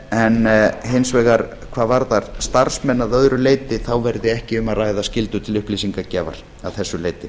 en hins vegar hvað varðar starfsmenn að öðru leyti verði ekki um að ræða skyldu til upplýsingagjafar að þessu leyti